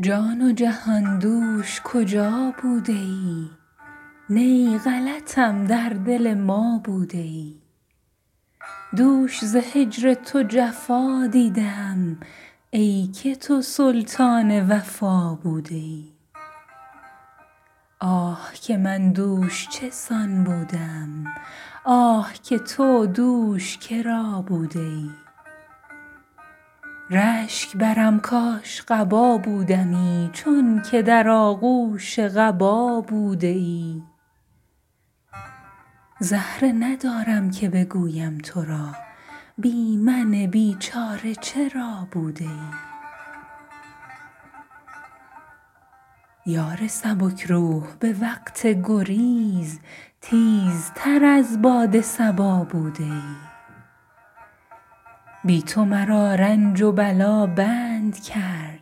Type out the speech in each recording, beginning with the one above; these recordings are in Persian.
جان و جهان دوش کجا بوده ای نی غلطم در دل ما بوده ای دوش ز هجر تو جفا دیده ام ای که تو سلطان وفا بوده ای آه که من دوش چه سان بوده ام آه که تو دوش کرا بوده ای رشک برم کاش قبا بودمی چونک در آغوش قبا بوده ای زهره ندارم که بگویم ترا بی من بیچاره چرا بوده ای یار سبک روح به وقت گریز تیزتر از باد صبا بوده ای بی تو مرا رنج و بلا بند کرد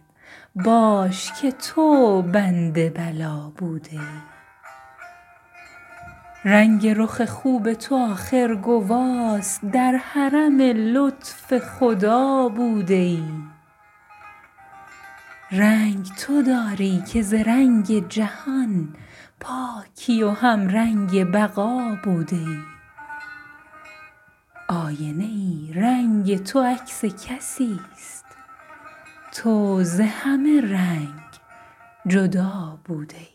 باش که تو بند بلا بوده ای رنگ رخ خوب تو آخر گواست در حرم لطف خدا بوده ای رنگ تو داری که ز رنگ جهان پاکی و همرنگ بقا بوده ای آینه ای رنگ تو عکس کسیست تو ز همه رنگ جدا بوده ای